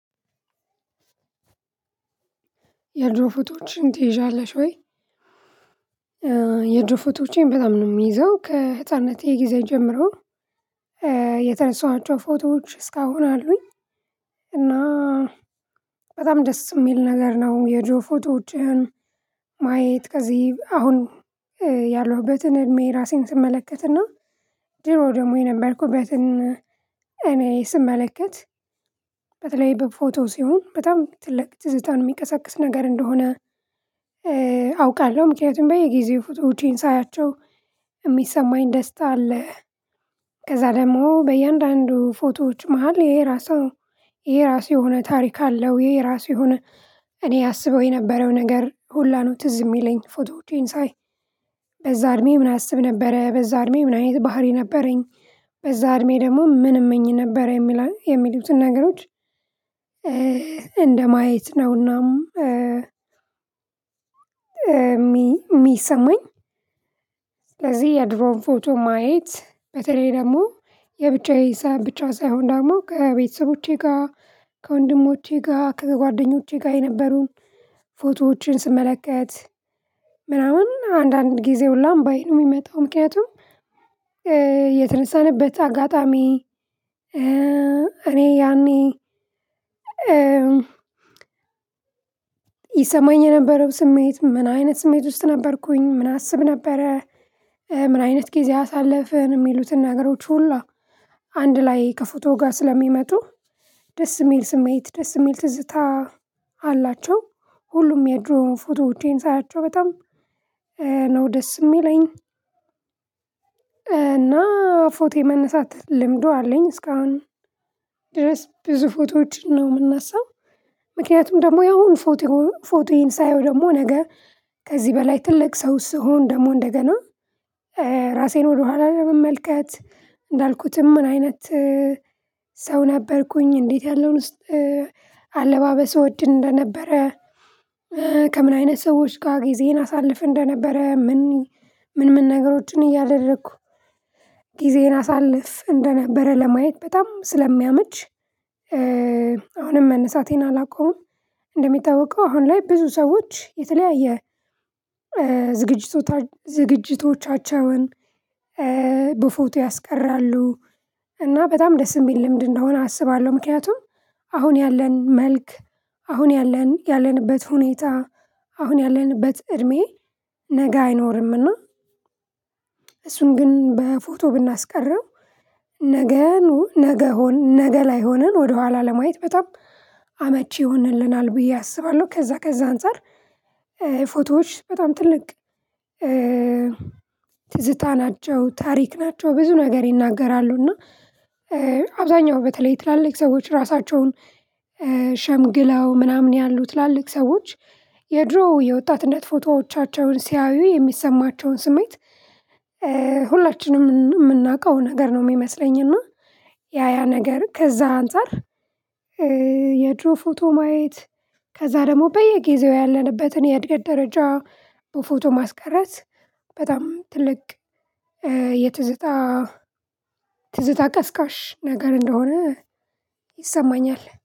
"የድሮ ፎቶዎችን ትይዣለሽ ወይ?" የድሮ ፎቶዎቼን በጣም ነው የምይዘው። ከህፃንነቴ ጊዜ ጀምሮ የተነሳኋቸው ፎቶዎች እስካሁን አሉኝ። እና በጣም ደስ የሚል ነገር ነው፤ የድሮ ፎቶዎችን ማየት ከዚህ አሁን ያለሁበትን እድሜ ራሴን ስመለከትና ድሮ ደግሞ የነበርኩበትን እኔ ስመለከት በተለይ በፎቶ ሲሆን በጣም ትልቅ ትዝታን የሚቀሰቅስ ነገር እንደሆነ አውቃለሁ። ምክንያቱም በየጊዜው ፎቶዎቼን ሳያቸው የሚሰማኝ ደስታ አለ። ከዛ ደግሞ በእያንዳንዱ ፎቶዎች መሃል የየራሱ የየራሱ የሆነ ታሪክ አለው፤ የየራሱ የሆነ እኔ አሰበው የነበረው ነገር ሁላ ነው ትዝ የሚለኝ ፎቶዎቼን ሳይ። በዛ እድሜ ምን አስብ ነበረ? በዛ እድሜ ምን አይነት ባህሪ ነበረኝ? በዛ እድሜ ደግሞ ምን እምኝ ነበረ? የሚለ የሚሉትን ነገሮች እንደማየት ነውና የሚሰማኝ የድሮን ፎቶ ማየት በተለይ ደግሞ የብቻዬ ሰዓት ብቻ ሳይሆን ደግሞ ከቤተሰቦቼ ጋር፣ ከወንድሞቼ ጋር፣ ከጓደኞቼ ጋር፣ የነበሩን ፎቶዎችን ስመለከት፤ ምናምን አንዳንድ ጊዜ ሁላ እንባይ ነው የሚመጣው። ምክንያቱም አጋጣሚ እኔ ያኔ ይሰማኝ የነበረው ስሜት ምን አይነት ስሜት ውስጥ ነበርኩኝ? ምን አስብ ነበረ? ምን አይነት ጊዜ አሳለፍን? የሚሉትን ነገሮች ሁላ አንድ ላይ ከፎቶ ጋር ስለሚመጡ፤ ደስ የሚል ስሜት ደስ የሚል ትዝታ አላቸው። ሁሉም የድሮ ፎቶዎቼን ሳያቸው በጣም ነው ደስ የሚለኝ፤ እና ፎቶ የመነሳት ልምዱ አለኝ። እስካሁን ድረስ ብዙ ፎቶዎችን ነው የምነሳው። ምክንያቱም ደግሞ ያሁኑ ፎቶ ፎቶዬን ሳየው ደግሞ ነገ ከዚህ በላይ ትልቅ ሰው ስሆን፤ ደግሞ እንደገና ራሴን ወደኋላ ለመመልከት እንዳልኩትም ምን አይነት ሰው ነበርኩኝ? እንዴት ያለውን ውስጥ አለባበስ እወድ እንደነበረ? ከምን አይነት ሰዎች ጋር ጊዜዬን አሳልፍ እንደነበረ? ምን ምን ምን ነገሮችን እያደረኩ ጊዜን አሳልፍ እንደነበረ? ለማየት በጣም ስለሚያመች፤ አሁንም መነሳቴን አላቆምም። እንደሚታወቀው አሁን ላይ ብዙ ሰዎች የተለያየ ዝግጅቶቻቸውን በፎቶ ያስቀራሉ፤ እና በጣም ደስ የሚል ልምድ እንደሆነ አስባለሁ። ምክንያቱም አሁን ያለን መልክ፣ አሁን ያለን ያለንበት ሁኔታ፣ አሁን ያለንበት እድሜ፣ ነገ አይኖርም። እና እሱን ግን በፎቶ ብናስቀረው ነገኑ ነገ ሆን ነገ ላይ ሆነን ወደኋላ ለማየት በጣም አመቺ ይሆንልናል ብዬ አስባለሁ። ከዛ ከዛ አንፃር ፎቶዎች በጣም ትልቅ ትዝታ ናቸው፤ ታሪክ ናቸው፣ ብዙ ነገር ይናገራሉ፤ እና አብዛኛው በተለይ ትላልቅ ሰዎች ራሳቸውን ሸምግለው ምናምን ያሉ ትላልቅ ሰዎች የድሮ የወጣትነት ፎቶዎቻቸውን ሲያዩ የሚሰማቸውን ስሜት ሁላችንም የምናውቀው ነገር ነው የሚመስለኝ፤ እና ያ ያ ነገር ከዛ አንፃር የድሮ ፎቶ ማየት ከዛ ደግሞ በየጊዜው ያለንበትን የእድገት ደረጃ በፎቶ ማስቀረት፤ በጣም ትልቅ የትዝታ ትዝታ ቀስቃሽ ነገር እንደሆነ ይሰማኛል።